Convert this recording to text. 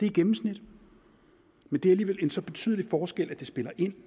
i gennemsnit men det er alligevel en så betydelig forskel at det spiller ind